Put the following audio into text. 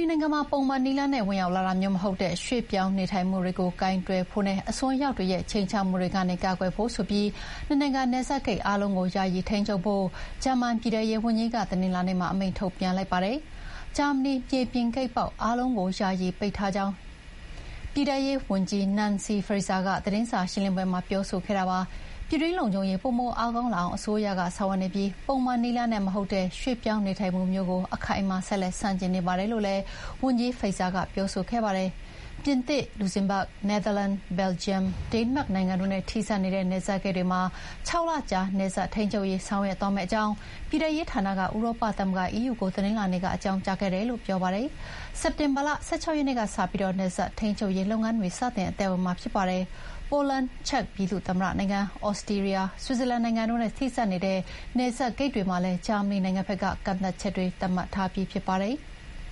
ီနိုင်ငံမှာ ပုံမှန်နည်းလမ်းနဲ့ ဝင်ရောက်လာတာမျိုးမဟုတ်တဲ့ ရွှေ့ပြောင်းနေထိုင်မှုတွေကို ကိုင်တွယ်ဖို့နဲ့ အစွန်းရောက်တွေရဲ့ ခြိမ်းခြောက်မှုကနေ ကာကွယ်ဖို့ဆိုပြီး နိုင်ငံနယ်စပ်ဂိတ်အားလုံးကို ယာယီထိန်းချုပ်ဖို့ ဂျာမန်ပြည်ထဲရေးဝန်ကြီးကတနင်္လာနေ့မှာ အမိန့်ထုတ်ပြန်လိုက်ပါတယ်။ ဂျာမနီမြေပြင်ဂိတ်ပေါက်အားလုံးကို ယာယီပိတ်ထားကြောင်း ပြည်ထဲရေးဝန်ကြီး Nancy Faeser ကသတင်းစာရှင်းလင်းပွဲမှာ ပြောဆိုခဲ့တာပါ။ ပြည်တွင်းလုံခြုံရေးပိုမိုအားကောင်းလာအောင် အစိုးရကဆောင်ရွက်နေပြီး ပုံမှန်နည်းလမ်းနဲ့မဟုတ်တဲ့ ရွှေ့ပြောင်းနေထိုင်မှုမျိုးကို အခိုင်အမာ ဆက်လက်ဆန့်ကျင်နေပါတယ်လို့လည်း ဝန်ကြီး Faeser ကပြောခဲ့ပါတယ်။ပြင်သစ်၊ လူဇမ်းဘတ်ဂ်၊ နယ်သာလန်၊ ဘယ်လ်ဂျီယံ၊ ဒိန်းမတ်နိုင်ငံတို့နဲ့ ထိစပ်နေတဲ့ နယ်စပ်ဂိတ်တွေမှာ ၆ လကြာနယ်စပ်ထိန်းချုပ်ရေး ဆောင်ရွက်သွားမယ့်အကြောင်း ပြည်ထဲရေးဌာနက ဥရောပသမဂ္ဂ EU ကို တနင်္လာနေ့ကအကြောင်းကြားခဲ့တယ်လို့ ပြောပါတယ်။ စက်တင်ဘာလ ၁၆ ရက်နေ့ကစပြီး နယ်စပ်ထိန်းချုပ်ရေးလုပ်ငန်းတွေ စတင်အသက်ဝင်မှာဖြစ်ပါတယ်။ ပိုလန်၊ ချက်ပြည်သူ့သမ္မတနိုင်ငံ၊ သြစတြီးယား၊ ဆွစ်ဇာလန်နိုင်ငံတို့နဲ့ ထိစပ်နေတဲ့နယ်စပ်ဂိတ်တွေမှာလည်း ဂျာမနီနိုင်ငံက ကန့်သတ်ချက်တွေသတ်မှတ်ထားပြီးဖြစ်ပါတယ်။